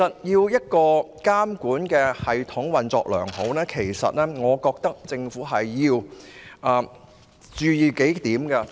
一個監管系統要運作良好，政府要注意數點。